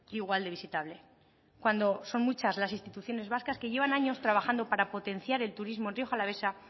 igual de visitable cuando son muchas las instituciones vascas que llevan años trabajando para potenciar el turismo en rioja alavesa